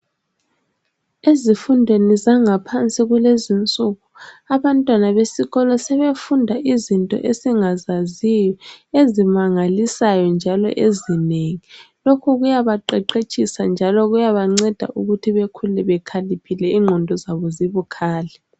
Ezifundweni zangaphansi kulezinsuku, abantwana besikolo sebefunda izinto esingazaziyo ezimangalisayo njalo ezinengi. Lokhu kuyabaqeqetshisa njalo kuyabanceda ukuthi bekhule bekhaliphile ingqondo zabo zibukhali.